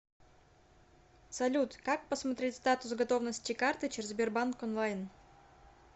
салют как посмотреть статус готовности карты через сбербанк онлайн